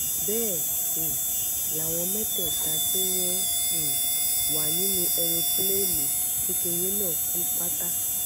bẹ́ẹ̀ um làwọn mẹ́tẹ̀ẹ̀ta tí wọ́n um wà nínú èròǹpilẹ̀ẹ́ni kékeré náà kú pátá